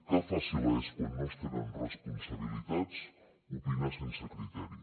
que fàcil és quan no es tenen responsabilitats opinar sense criteri